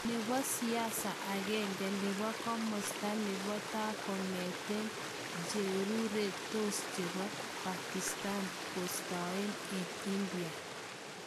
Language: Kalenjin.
Nepo siasa agenge nepo komosta nepo taa, kokatigan cheureretos chepo Pakistan kostaen en India